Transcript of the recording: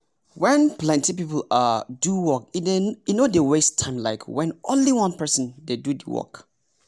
when plenty people um do work e no dey waste time like when only one person dey do the work.